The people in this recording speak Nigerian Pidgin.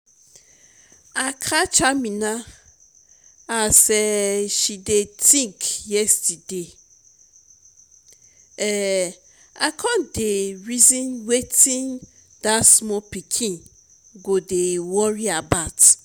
i catch amina as um she dey think yesterday um i come dey reason wetin dat small pikin go dey worry about